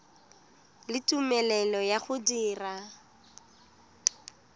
le tumelelo ya go dira